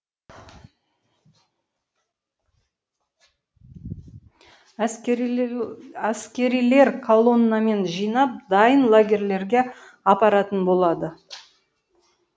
әскерилер калоннамен жинап дайын лагерлерге апаратын болады